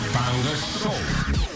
таңғы шоу